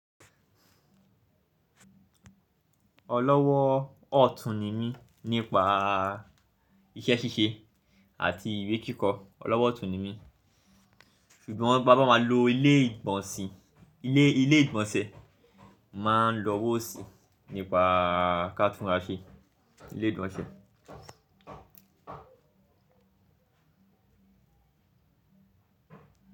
Ọlọ́wọ́ ọ̀tún ni mí nípa iṣẹ́ ṣíṣe àti ìwé kíkọ. Ọlọ́wọ́ ọ̀tún ni mí, ṣùgbọ́n bá máa lo ilé ìgbọ̀nsẹ̀, màá lọwò ósi nípa ká túnsẹ ilé ìgbọ̀nsẹ̀.